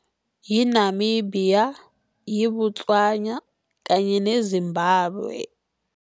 Yi-Namibia, yiBotswana kanye neZimbabwe.